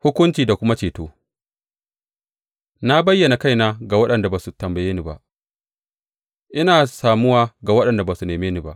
Hukunci da kuma ceto Na bayyana kaina ga waɗanda ba su tambaye ni ba; ina samuwa ga waɗanda ba su neme ni ba.